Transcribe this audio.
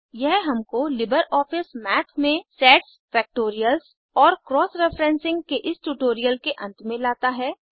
यह हमको LibreOffice Math में सेट्स फ़ैक्टोरियल्स और क्रॉस रेफ़रेंसिंग के इस ट्यूटोरियल के अंत में लाता है